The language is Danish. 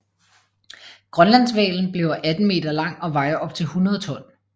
Grønlandshvalen bliver 18 meter lang og vejer op til 100 ton